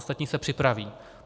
Ostatní se připraví.